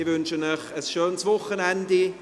Ich wünsche Ihnen ein schönes Wochenende.